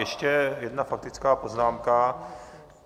Ještě jedna faktická poznámka.